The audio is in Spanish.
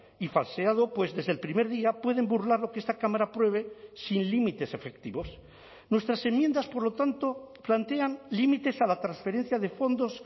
y falseado pues desde el primer día pueden burlar lo que esta cámara apruebe sin límites efectivos nuestras enmiendas por lo tanto plantean límites a la transferencia de fondos